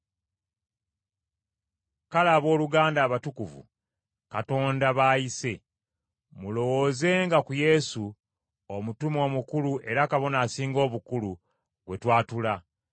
Kale abooluganda abatukuvu, Katonda b’ayise, mulowoozenga ku Yesu, Omutume Omukulu era Kabona Asinga Obukulu, gwe twatula.